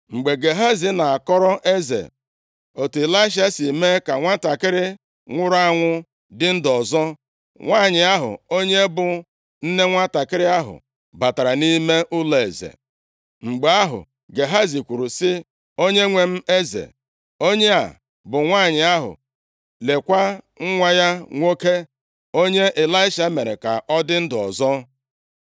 Mgbe Gehazi na-akọrọ eze otu Ịlaisha si mee ka nwantakịrị nwụrụ anwụ dị ndụ ọzọ, nwanyị ahụ, onye bụ nne nwantakịrị ahụ, batara nʼime ụlọeze. Mgbe ahụ, Gehazi kwuru sị, “Onyenwe m eze, onye a bụ nwanyị ahụ, leekwa nwa ya nwoke, onye Ịlaisha mere ka ọ dị ndụ ọzọ.”